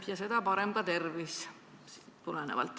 Ja seda parem on ka tervis.